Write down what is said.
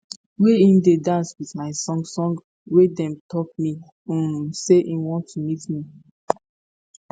wey im dey dance wit my song song wey dey tok me um say im want to meet me